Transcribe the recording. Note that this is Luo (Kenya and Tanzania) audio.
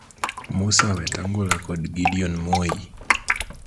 Musa Wetangula kod Gideon Moi